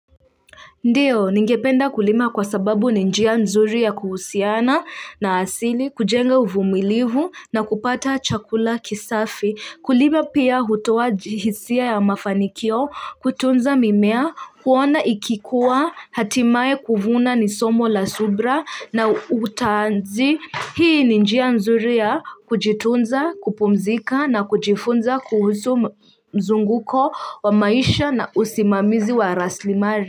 Ndiyo, ningependa kulima kwa sababu ni njia mzuri ya kuhusiana na asili, kujenga uvumilivu na kupata chakula kisafi. Kulima pia hutoa hisia ya mafanikio, kutunza mimea, kuona ikikuwa, hatimae kuvuna ni somo la subra na utanzi. Hii ni njia nzuri ya kujitunza, kupumzika na kujifunza kuhusu mzunguko wa maisha na usimamizi wa raslimari.